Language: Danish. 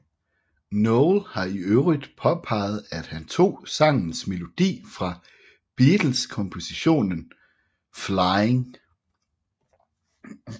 Noel har i øvrigt påpeget at han tog sangens melodi fra Beatles kompositionen Flying